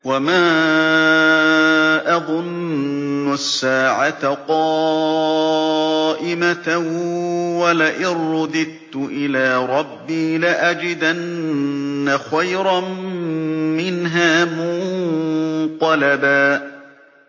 وَمَا أَظُنُّ السَّاعَةَ قَائِمَةً وَلَئِن رُّدِدتُّ إِلَىٰ رَبِّي لَأَجِدَنَّ خَيْرًا مِّنْهَا مُنقَلَبًا